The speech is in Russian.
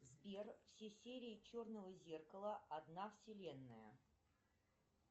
сбер все серии черного зеркала одна вселенная